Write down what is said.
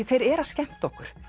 þeir eru að skemmta okkur